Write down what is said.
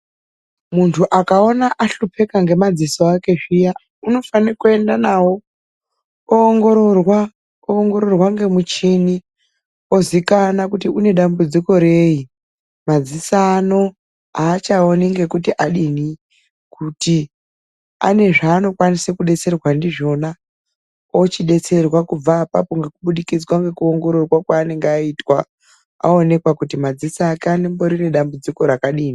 Muntu akaona ahlupeka ngemadziso akwe zviya unofanira kuenda nawo ongororwa ngemishini. Ozikana kuti une dambudziko reyi ,maziso ano haachaoni ngekuti adini , kuti anozvaanookwanisa kudetsera ndizvona ochidetserwa kubva apapongekubudikidzwa nekuonekwa kwaanenge aita anonekwa kuti maziso ake anedambudzimo rakadini.